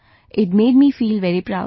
It made me feel very proud